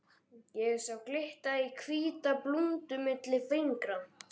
Ég sá glitta í hvíta blúndu milli fingra.